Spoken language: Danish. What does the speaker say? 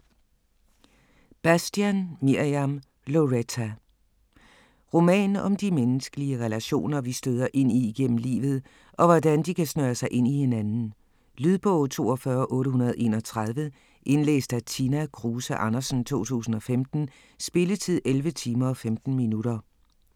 Bastian, Mirjam: Loretta Roman om de menneskelige relationer vi støder ind i igennem livet og hvordan de kan snøre sig ind i hinanden. Lydbog 42831 Indlæst af Tina Kruse Andersen, 2015. Spilletid: 11 timer, 15 minutter.